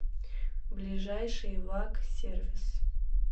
ближайший ваг сервис